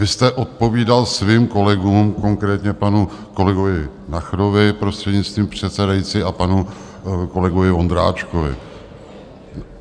Vy jste odpovídal svým kolegům, konkrétně panu kolegovi Nacherovi, prostřednictvím předsedající, a panu kolegovi Vondráčkovi.